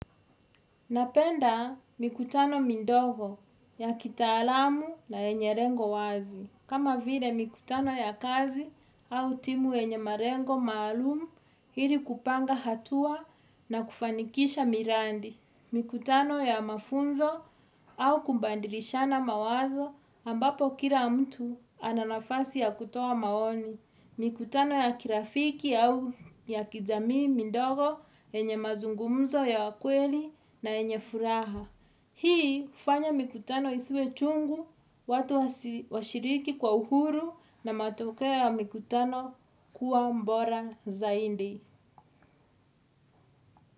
Napenda mikutano midogo ya kitaalamu na yenye lengo wazi. Kama vile mikutano ya kazi au timu yenye malengo maalum ili kupanga hatua na kufanikisha miradi. Mikutano ya mafunzo au kubadilishana mawazo ambapo kila mtu ana nafasi ya kutoa maoni. Mikutano ya kirafiki au ya kijamii midogo yenye mazungumzo ya kweli na yenye furaha. Hii hufanya mikutano isiwe chungu, watu washiriki kwa uhuru na matoke ya mikutano kuwa bora zaidi.